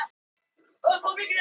Brýtur gegn stjórnarskrá